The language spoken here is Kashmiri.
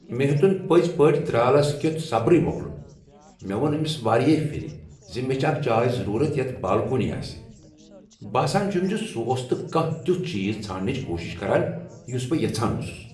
مےٚ ہیوٚتن پٔزۍ پٲٹھۍ درالس کیُتھ صبرٕے مۄکلن۔ مےٚ ووٚن أمس واریاہ پھر ز مےٚ چھےٚ اکھ جاے ضرورت یتھ بالکونی آسہ۔ باسان چھم ز سہ اوس نہٕ کانہہ تیتھ چیز ژھانڈنٕچ کوشش کران یس بہٕ یژھان اوسس۔